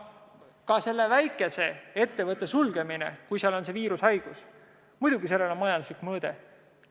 Ka väikese ettevõtte sulgemisel, kui seal on viirushaigus, on majanduslik mõõde.